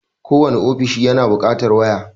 Kowane ofishi yana buƙatar waya.